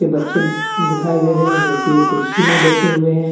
ये बच्चे दिखाई दे रहे हैं जो कि एक कुर्सी में बैठे हुए हैं।